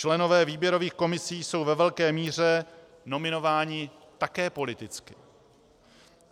Členové výběrových komisí jsou ve velké míře nominováni také politicky.